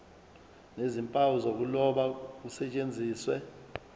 nezimpawu zokuloba kusetshenziswe